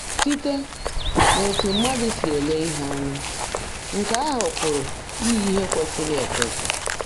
Site n’etu mmadụ si ele ihe anya, nke ahụ pụrụ iyi ihe kwesịrị ekwesị.